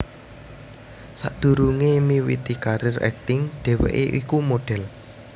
Sadhurungé miwiti karir akting dheweké iku model